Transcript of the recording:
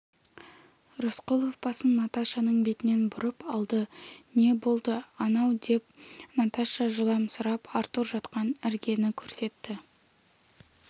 рысқұлов басын наташаның бетінен бұрып алды не болды анау деп наташа жыламсырап артур жатқан іргені көрсетті